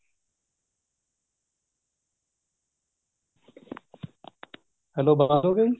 hello ਬੰਦ ਹੋ ਗਿਆ ਜੀ